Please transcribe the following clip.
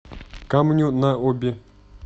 камню на оби